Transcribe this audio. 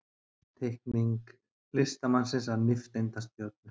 Teikning listamanns af nifteindastjörnu.